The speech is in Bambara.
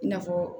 I n'a fɔ